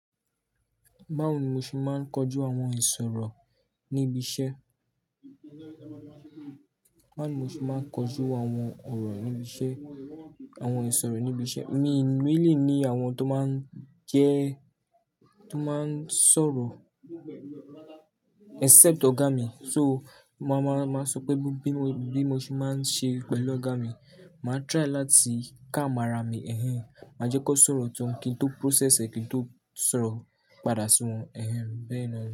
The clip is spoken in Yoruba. Báwo ni mo ṣe máa ń kojú àwọn ìsọ̀rọ̀ ní ibi iṣẹ́? Báwo ni mo ṣe máa ń kojú àwọn ọ̀rọ̀ ní ibi iṣẹ́, àwọn ìsọ̀rọ̀ ní ibi iṣẹ́? Mi, mi lè ní àwọn oun tó máa ń jẹ́, tó máa ń sọ̀rọ̀ except ọ̀gá mi. So màá máa, máa sọ pé bí mo, bí mo ṣe máa ń ṣe pẹ̀lú ọ̀gá mi. Màá try láti calm ára mi ẹ̀hẹ̀n, má jẹ́ kó sọ̀rọ̀ tán kí n tó process ẹ́ kí n tó sọ̀rọ̀ padà sí wọn ẹ̀hẹ̀n. Bẹ́ẹ̀ ni ọ́